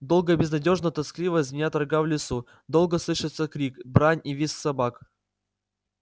долго и безнадёжно-тоскливо звенят рога в лесу долго слышатся крик брань и визг собак